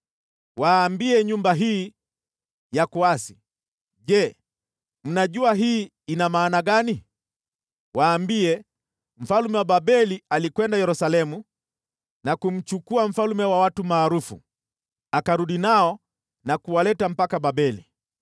“Waambie nyumba hii ya kuasi, ‘Je, mnajua hii ina maana gani?’ Waambie: ‘Mfalme wa Babeli alikwenda Yerusalemu na kumchukua mfalme na watu maarufu, akarudi nao na kuwaleta mpaka Babeli.